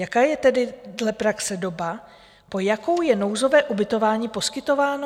Jaká je tedy dle praxe doba, po jakou je nouzové ubytování poskytováno?